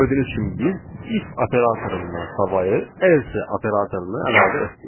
Burada gördüyünüz kimi biz if operatorundan savayı else operatorunu əlavə etdik.